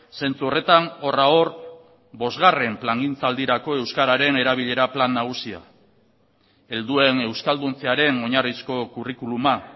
zentzu horretan horra hor bosgarren plangintzaldirako euskararen erabilera plan nagusia helduen euskalduntzearen oinarrizko kurrikuluma